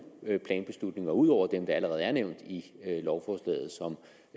planbeslutninger ud over dem der allerede er nævnt i lovforslaget som